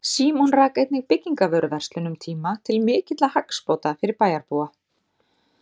Símon rak einnig byggingavöruverslun um tíma til mikilla hagsbóta fyrir bæjarbúa.